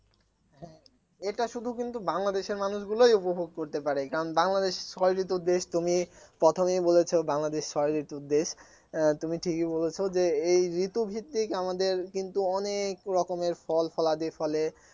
এটা শুধু কিন্তু বাংলাদেশের মানুষগুলাই উপভোগ করতে পারে কারণ বাংলাদেশ ছয় ঋতুর দেশ তুমি প্রথমেই বলেছো বাংলাদেশ ছয় ঋতুর দেশ তুমি ঠিকই বলেছো যে এই ঋতুভিত্তিক আমাদের কিন্তু অনেক রকমের ফলফলাদি ফলে